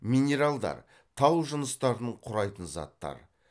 минералдар тау жыныстарын құрайтын заттар